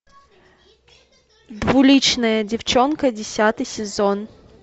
двуличная девчонка десятый сезон